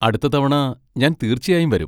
അടുത്ത തവണ ഞാൻ തീർച്ചയായും വരും.